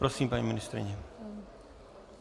Prosím, paní ministryně.